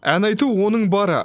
ән айту оның бары